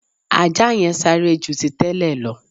Ajá yẹn sáré ju ti tẹ́lẹ̀ lọ